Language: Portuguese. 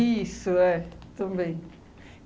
é, também.